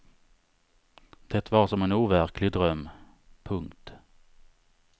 Det var som en overklig dröm. punkt